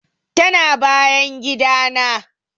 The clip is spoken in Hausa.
Tana bayan gidana.